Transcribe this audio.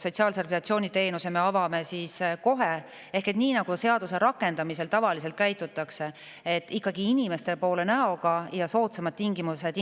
sotsiaalse rehabilitatsiooni teenuse me avame siis kohe ehk nii nagu seaduse rakendamisel tavaliselt käitutakse: ikkagi näoga inimeste poole ja inimestele soodsamate tingimustega.